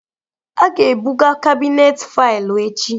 A ga-ebuga kabinet faịlụ echi